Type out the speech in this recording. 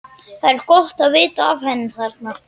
Það er gott að vita af henni þarna.